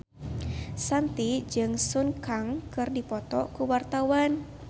Shanti jeung Sun Kang keur dipoto ku wartawan